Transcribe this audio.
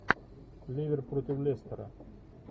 ливер против лестера